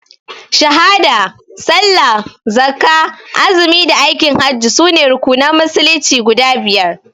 Shahada, Sallah, Zakkah, Azumi da Aikin hajji sune rukunan musulunci guda biyar.